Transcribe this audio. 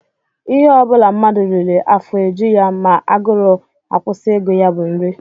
Ihe ọ bụla mmadụ riri afọ eju ya ma agụrụ akwụsị ịgụ ya bụ nri